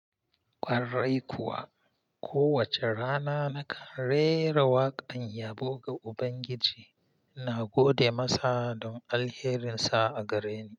Ƙwarai kuwa, kowace rana nakan rera waƙan yabo ga Ubangiji, ina gode masa don alherinsa a gareni.